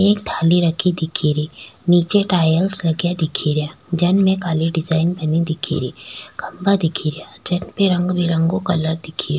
एक थाली रखी दिखे री निचे टाइल्स लगा दिख रा जाम काली डिजाइन बानी दिखे री खम्भा दिखे रा जेपी रंग बिरंगो कलर दिख रो।